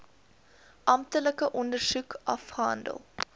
amptelike ondersoek afgehandel